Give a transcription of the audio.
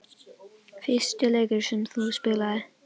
Fyrsti leikur sem þú spilaðir?